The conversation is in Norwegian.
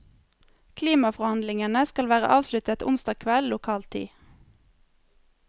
Klimaforhandlingene skal være avsluttet onsdag kveld lokal tid.